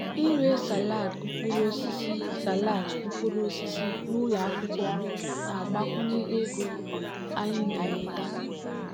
ịre salad mkpụrụ osisi salad mkpụrụ osisi n'ụlọ akwụkwọ na-agbakwunye ego anyị na-enweta.